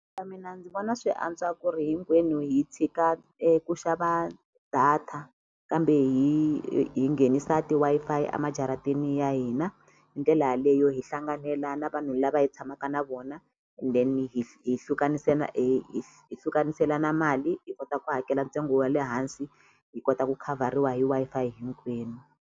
mina ndzi vona swi antswa ku ri hinkwenu hi tshika ku xava data kambe hi hi nghenisa ti-Wi-Fi a majarateni ya hina hindlela yaleyo hi hlanganela na vanhu lava hi tshamaka na vona then hi mali hi kota ku hakela ntsengo wa le hansi hi kota ku khavhariwa hi Wi-Fi hinkwenu.